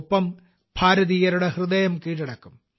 ഒപ്പം ഭാരതീയരുടെ ഹൃദയം കീഴടക്കും